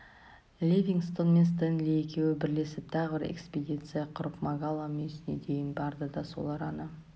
ливингстон мен стенли екеуі бірлесіп тағы бір экспедиция құрып магала мүйісіне дейін барды да сол араны